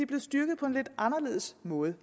blevet styrket på en lidt anderledes måde